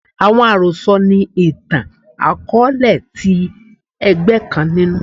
Awọn arosọ ni itan-akọọlẹ ti ẹgbẹ kan ninu